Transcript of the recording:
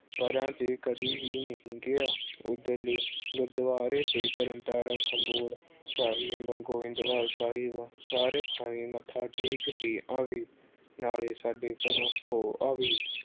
ਪਰਾਂ ਤੇ ਕਦੀ ਵੀ ਨਹੀਂ ਗਿਆ ਉਧਰਲੇ ਗੁਰੂਦੁਆਰੇ ਤੇ ਤਰਨ-ਤਾਰਨ ਖਡੂਰ ਸਾਹਿਬ, ਗੋਇੰਦਵਾਲ ਸਾਹਿਬ ਸਾਰੇ ਥਾਂਈ ਮੱਥਾ ਟੇਕ ਕੇ ਆਵੀ। ਅਹ ਨਾਲੇ ਸਾਡੇ ਘਰੋਂ ਹੋ ਆਵੀਂ।